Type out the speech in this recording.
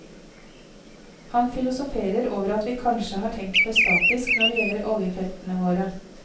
Han filosoferer over at vi kanskje har tenkt for statisk når det gjelder oljefeltene våre.